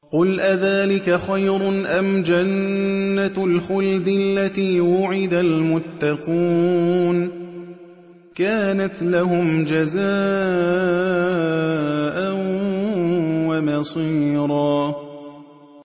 قُلْ أَذَٰلِكَ خَيْرٌ أَمْ جَنَّةُ الْخُلْدِ الَّتِي وُعِدَ الْمُتَّقُونَ ۚ كَانَتْ لَهُمْ جَزَاءً وَمَصِيرًا